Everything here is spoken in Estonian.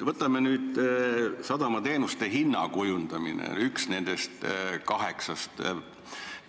Võtame sadamateenuste hinna kujundamise, mille kohta on üks kaheksast sadamate